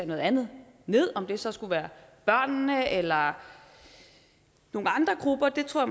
noget andet om det så skulle være børnene eller nogle andre grupper det tror